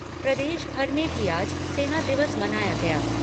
प्रदेश भर में भी आज सेना दिवस मनाया गया।